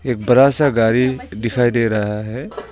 एक बड़ा सा गाड़ी दिखाई दे रहा है।